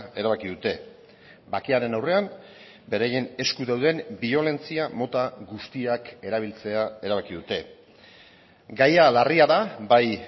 erabaki dute bakearen aurrean beraien esku dauden biolentzia mota guztiak erabiltzea erabaki dute gaia larria da bai